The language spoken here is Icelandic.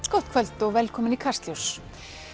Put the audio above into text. gott kvöld og velkomin í Kastljós